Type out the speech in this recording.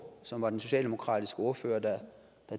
som var den socialdemokratiske ordfører der